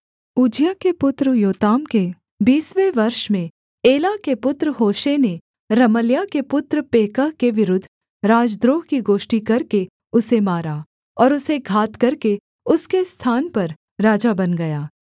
Uzziah के पुत्र Jotham के बीसवें वर्ष में एला के पुत्र होशे ने रमल्याह के पुत्र पेकह के विरुद्ध राजद्रोह की गोष्ठी करके उसे मारा और उसे घात करके उसके स्थान पर राजा बन गया